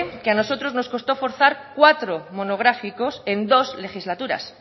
que a nosotros nos costó forzar cuatro monográficos en dos legislaturas